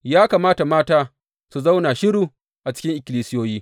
Ya kamata mata su zauna shiru a cikin ikkilisiyoyi.